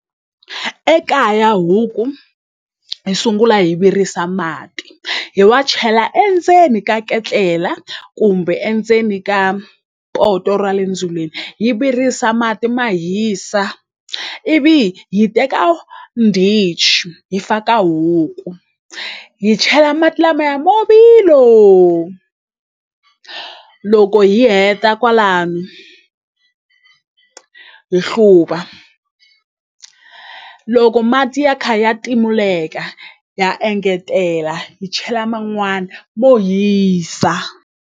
Ekaya huku hi sungula hi virisa mati hi wa chela endzeni ka ketlela kumbe endzeni ka poto ra le ndzilweni hi virisa mati ma hisa ivi hi teka ndichi hi faka huku hi chela mati lamaya mavilo loko hi heta kwalano hi hluva loko mati ya kha ya timuleka ha engetela hi chela man'wana mo hisa.